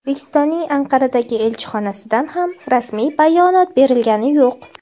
O‘zbekistonning Anqaradagi elchixonasidan ham rasmiy bayonot berilgani yo‘q.